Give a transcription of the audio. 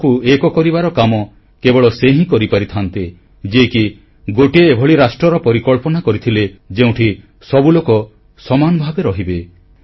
ଦେଶକୁ ଏକ କରିବାର କାମ କେବଳ ସେ ହିଁ କରିପାରିଥାନ୍ତେ ଯିଏକି ଗୋଟିଏ ଏଭଳି ରାଷ୍ଟ୍ରର ପରିକଳ୍ପନା କରିଥିଲେ ଯେଉଁଠି ସବୁ ଲୋକ ସମାନ ଭାବେ ରହିବେ